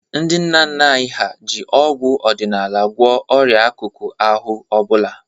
Ndị nna nna anyị ha ji ọgwụ ọdịnala gwọọ ọrịa akụkụ ahụ ọ bụla.